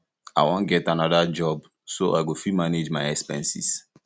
i wan get another job so i go fit manage my expenses